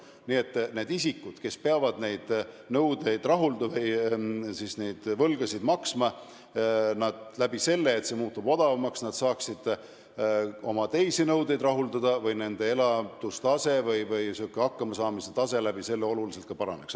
Nii et need isikud, kes peavad neid võlgasid maksma, saaksid seetõttu, et see muutub odavamaks, oma teisi nõudeid rahuldada või nende elatustase või hakkamasaamise tase oluliselt paraneks.